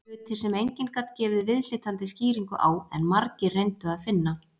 Hlutir sem enginn gat gefið viðhlítandi skýringu á, en margir reyndu að finna.